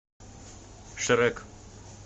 шрек